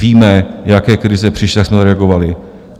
Víme, jaké krize přišly, jak jsme reagovali.